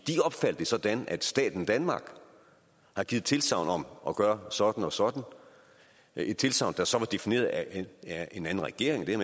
opfatter det sådan at staten danmark har givet tilsagn om at gøre sådan og sådan et tilsagn der så var defineret af en anden regering det er